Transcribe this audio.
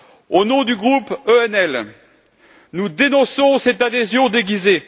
Au nom du groupe ENF, nous dénonçons cette adhésion déguisée.